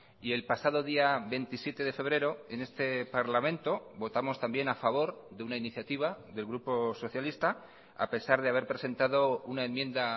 y el pasado día veintisiete de febrero en este parlamento votamos también a favor de una iniciativa del grupo socialista a pesar de haber presentado una enmienda